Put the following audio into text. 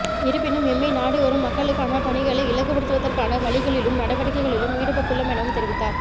இருப்பினும் எம்மை நாடிவரும் மக்களுக்கான பணிகளை இலகுபடுத்துவதற்கான வழிகளிலும் நடவடிக்கைகளிலும் ஈடுபட்டுள்ளோம் எனவும் தெரிவித்தார்